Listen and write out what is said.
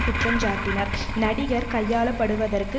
குற்றஞ்சாட்டினார் நடிகர் கையாளப்படுவதற்கு